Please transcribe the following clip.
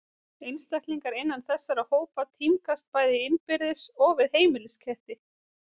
Einstaklingar innan þessara hópa tímgast bæði innbyrðis og við heimilisketti.